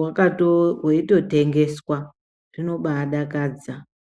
wakatoo weito tengeswa zvino baadakadza .